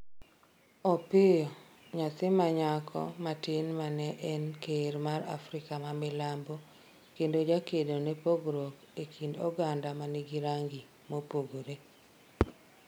Opiyo, nyathi manyako matin mane en ker mar Afrika ma milambo kendo jakedo ne pogruok e kind oganda manigi rangi mopogore